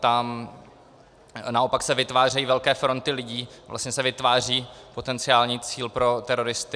Tam se naopak vytvářejí velké fronty lidí, vlastně se vytváří potenciální cíl pro teroristy.